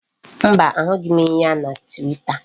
Mba, a hụghị m ya na Twita.